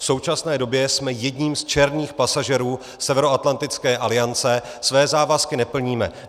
V současné době jsme jedním z černých pasažérů Severoatlantické aliance, své závazky neplníme.